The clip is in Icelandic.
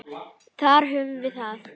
Þar höfum við það!